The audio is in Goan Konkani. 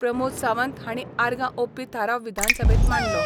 प्रमोद सावंत हांणी आर्गां ओपपी थाराव विधानसभेत मांडलो.